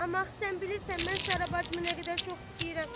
Amma axı sən bilirsən mən Sara bacımı nə qədər çox istəyirəm.